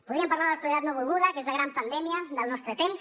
podríem parlar de la soledat no volguda que és la gran pandèmia del nostre temps